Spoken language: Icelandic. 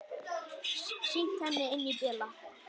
Sýnt henni inn í bílana.